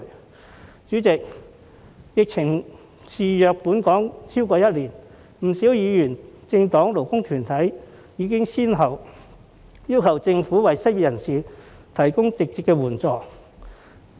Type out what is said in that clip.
代理主席，疫情肆虐本港超過一年，不少議員、政黨及勞工團體已經先後要求政府為失業人士提供直接援助。